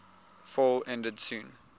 fell ended soon